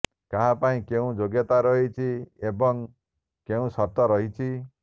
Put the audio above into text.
କାହାପାଇଁ କେଉଁ ଯୋଗ୍ୟତା ରହିଛି ଏବଂଳ କେଉଁ ସର୍ତ୍ତ ରହିଛି